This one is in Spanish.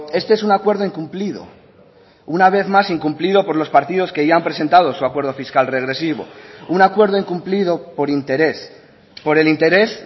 este es un acuerdo incumplido una vez más incumplido por los partidos que ya han presentado su acuerdo fiscal regresivo un acuerdo incumplido por interés por el interés